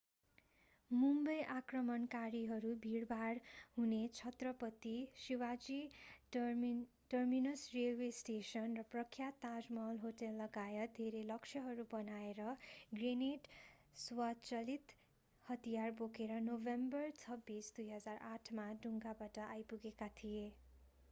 मुम्बई आक्रमणकारीहरू भिडभाड हुने Chhatrapati Shivaji terminus railway station र प्रख्यात ताजमहल होटललगायत धेरै लक्ष्यहरू बनाएर ग्रेनेड स्वचालित हतियार बोकेर नोभेम्बर 26 2008 मा डुङ्गाबाट आइपुगेका थिए